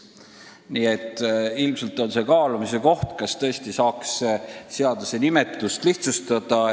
" Nii et ilmselt on see kaalumise koht, kas tõesti peaks seaduse pealkirja muutma.